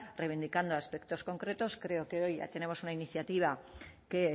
reivindicando aspectos concretos creo que hoy tenemos una iniciativa que